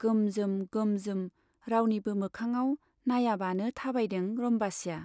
गोमजोम गोमजोम रावनिबो मोखाङाव नाइयाबानो थाबायदों रम्बसीया।